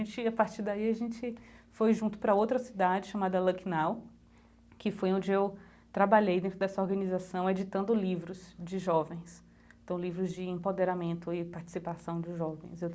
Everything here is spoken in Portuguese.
a partir daí a gente foi junto para outra cidade, chamada Lucknow, que foi onde eu trabalhei dentro dessa organização, editando livros de jovens, então livro de empoderamento e participação dos jovens.